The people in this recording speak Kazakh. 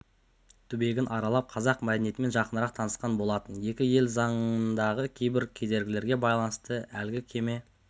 түбегін аралап қазақ мәдениетімен жақынырақ танысқан болатын екі ел заңындағы кейбір кедергілерге байланысты әлгі кеме